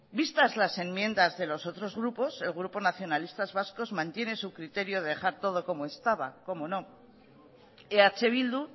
vistas las enmiendas de los otros grupos el grupo nacionalistas vascos mantiene su criterio de dejar todo como estaba cómo no eh bildu